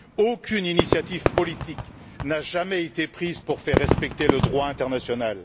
Aucune initiative politique n'a jamais été prise pour faire respecter le droit international.